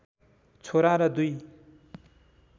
छोरा र दुई